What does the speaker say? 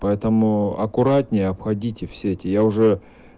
поэтому аккуратнее обходите в сети я уже